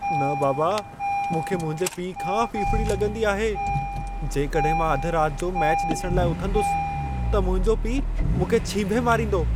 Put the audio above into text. न बाबा, मूंखे मुंहिंजे पीउ खां फ़िफ़िड़ी लॻंदी आहे। जेकॾहिं मां अध रात जो मैचु ॾिसण लाइ उथंदुसि, त मुंहिंजो पीउ मूंखे छींभे मारींदो।